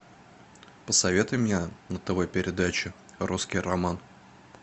посоветуй мне на тв передачу русский роман